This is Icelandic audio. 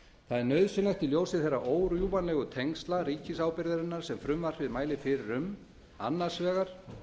er nauðsynlegt í ljósi þeirra órjúfanlegu tengsla ríkisábyrgðarinnar sem frumvarpið mælir fyrir um annars vegar